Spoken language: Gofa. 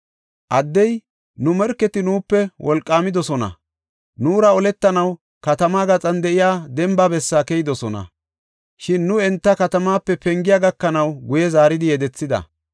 Addey, “Nu morketi nuupe wolqaamidosona; nuura oletanaw katamaa gaxan de7iya demba bessaa keyidosona. Shin nu enta katama pengiya gakanaw guye zaaridi yedethida.